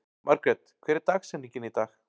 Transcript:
Margret, hver er dagsetningin í dag?